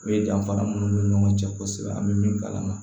O ye danfara minnu ni ɲɔgɔn cɛ kosɛbɛ an bɛ min kalan na